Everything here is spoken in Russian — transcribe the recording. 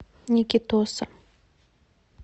никитоса